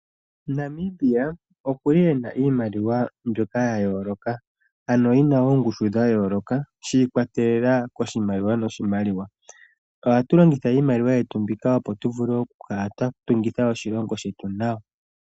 Namibia okuli ena iimaliwa mbyoka ya yooloka ano yina oongushu dha yooloka shiikwatelela koshimaliwa noshimaliwa. Ohatu longitha iimaliwa yetu mbika opo tu vule oku kala twa tungitha oshilongo shetu nawa.